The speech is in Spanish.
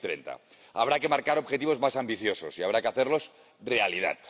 2030. Habrá que marcar objetivos más ambiciosos y habrá que hacerlos realidad.